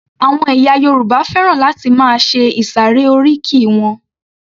Àwọn ẹ̀yà Yorùbá fẹ́ràn láti máa ṣe ìsàré oríkì wọn